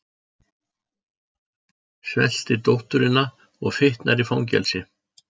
Svelti dótturina og fitnar í fangelsi